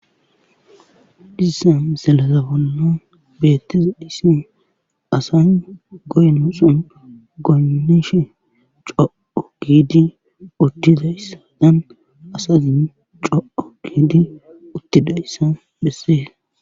Dhissan selazafanna beettiza dhissen asan goyno son goynishe co7o kidi uddidayssa dan asazin co7o kiidi uttidayssa bessee